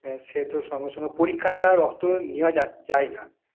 আহ সে তো সঙ্গে সঙ্গে পরীক্ষা ছাড়া রক্ত নেওয়া যা~ যায় না